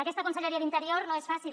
aquesta conselleria d’interior no és fàcil